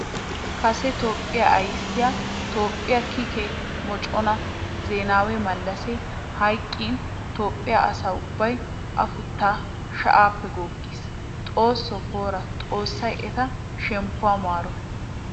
Kase Toophphiya ayssiya Toophphiya kiikke moconna Zenawi malassi hayqqin Toophphiya asaa ubbawu afuttay shayappe goggiis. Xooso poora! Xoosay etta shemppuwa maaro.